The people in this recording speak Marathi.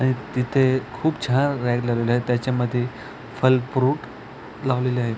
आणि तिथे खूप छान रॅक लागलेल आहेत त्याच्यामधे फल फ्रुट लावलेले आहेत.